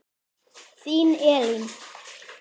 Þín Elín.